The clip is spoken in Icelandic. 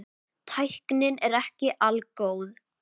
Tæknin er ekki algóð.